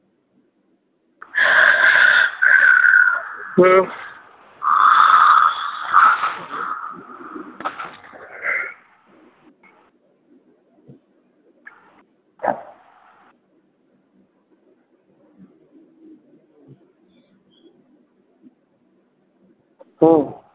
হম